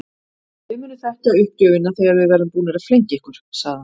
Þið munið þekkja uppgjöfina þegar við verðum búnir að flengja ykkur sagði hann.